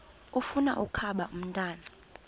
ufuna ukaba ngumntwana